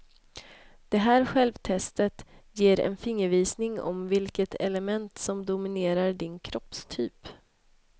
Det här självtestet ger en fingervisning om vilket element som dominerar din kroppstyp.